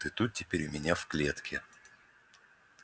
ты тут теперь у меня в клетке